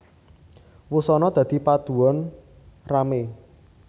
Wusanana dadi padudon ramé